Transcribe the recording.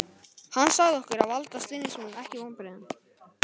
Hann sagði okkur að valda stuðningsmönnum ekki vonbrigðum